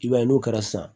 I b'a ye n'o kɛra sisan